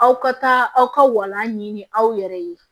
Aw ka taa aw ka walanɲini aw yɛrɛ ye